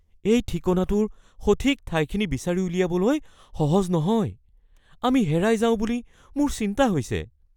এই ঠিকনাটোৰ সঠিক ঠাইখিনি বিচাৰি উলিয়াবলৈ সহজ নহয়। আমি হেৰাই যাওঁ বুলি মোৰ চিন্তা হৈছে।